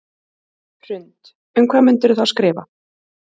Hrund: Um hvað myndirðu þá skrifa?